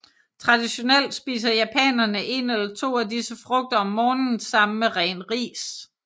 Traditionelt spiser japanere en eller to af disse frugter om morgenen sammen med ren ris